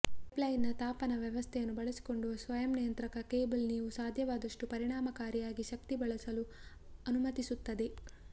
pipeline ತಾಪನ ವ್ಯವಸ್ಥೆಯನ್ನು ಬಳಸಿಕೊಂಡು ಸ್ವಯಂ ನಿಯಂತ್ರಿತ ಕೇಬಲ್ ನೀವು ಸಾಧ್ಯವಾದಷ್ಟು ಪರಿಣಾಮಕಾರಿಯಾಗಿ ಶಕ್ತಿ ಬಳಸಲು ಅನುಮತಿಸುತ್ತದೆ